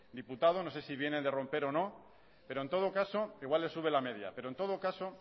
diputado no sé si viene de romper o no pero en todo caso igual le sube la media pero en todo caso